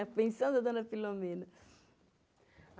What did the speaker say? A pensão da dona Filomena.